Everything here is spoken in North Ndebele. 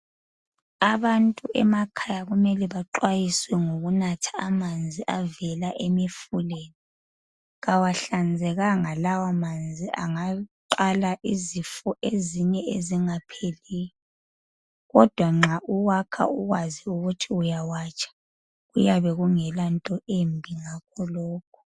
Abantu emakhaya kumele baxwayiswe ngokunatha amanzi avela emifuleni. Kawahlanzekanga lawamanzi angaqala izifo ezinye ezingapheliyo. Kodwa nxa uwakha ukwazi ukuthi uyawatsha kuyabe kungelanto embi ngakho lokho.